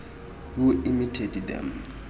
who imitate them